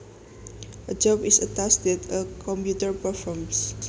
A job is a task that a computer performs